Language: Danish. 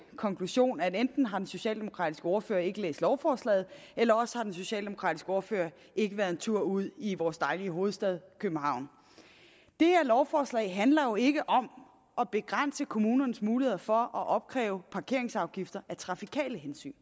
konklusion at enten har den socialdemokratiske ordfører ikke læst lovforslaget eller også har den socialdemokratiske ordfører ikke været en tur ude i vores dejlige hovedstad københavn det her lovforslag handler jo ikke om at begrænse kommunernes muligheder for at opkræve parkeringsafgifter af trafikale hensyn